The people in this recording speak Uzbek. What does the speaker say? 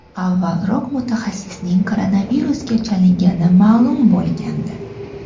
Avvalroq mutaxassisning koronavirusga chalingani ma’lum bo‘lgandi.